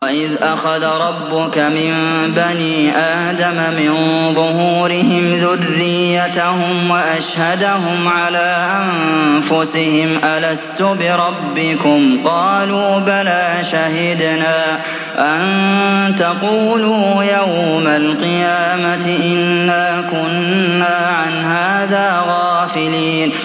وَإِذْ أَخَذَ رَبُّكَ مِن بَنِي آدَمَ مِن ظُهُورِهِمْ ذُرِّيَّتَهُمْ وَأَشْهَدَهُمْ عَلَىٰ أَنفُسِهِمْ أَلَسْتُ بِرَبِّكُمْ ۖ قَالُوا بَلَىٰ ۛ شَهِدْنَا ۛ أَن تَقُولُوا يَوْمَ الْقِيَامَةِ إِنَّا كُنَّا عَنْ هَٰذَا غَافِلِينَ